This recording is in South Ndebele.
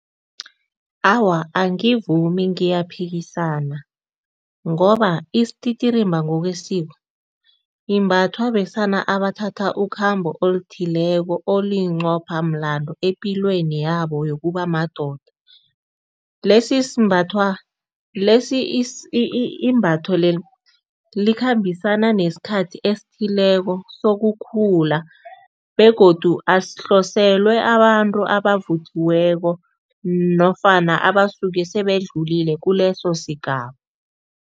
Awa, angivumi ngiyaphikisana ngoba isititirimba ngokwesiko imbathwa besana abathatha ukhambo oluthileko eliyimqopha mlando epilweni yabo yokuba madoda. Lesi simbathwa lesi imbatho leli likhambisana nesikhathi esithileko sokukhula begodu asihloselwa abantu abavuthiweko nofana abasuke sebedlulile kuleso sigaba.